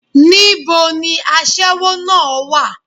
Ní bo ni aṣẹ́wó náà á wà?